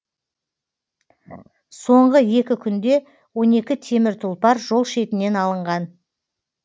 соңғы екі күнде он екі темір тұлпар жол шетінен алынған